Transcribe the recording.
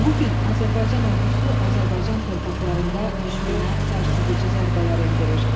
Bu gün Azərbaycan ordusu Azərbaycan torpaqlarında düşmənə sarsıdıcı zərbələr endirir.